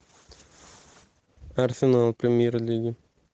арсенал премьер лига